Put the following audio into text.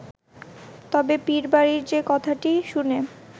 তবে পীরবাড়ির যে কথাটি শুনে